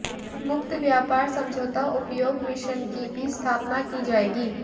मुक्त व्यापार समझौता उपयोग मिशन की भी स्थापना की जाएगी